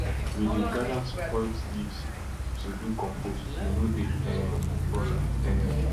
we dey gather spoiled leaves to do compost we no dey um burn am um